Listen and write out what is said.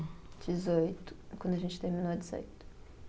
Dezoito, quando a gente terminou de sair.